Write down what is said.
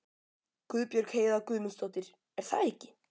Guðbjörg Heiða Guðmundsdóttir: Er það ekki?